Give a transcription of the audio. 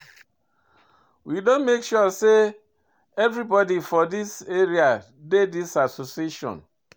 We don make sure sey everybodi for dis area dey dis association.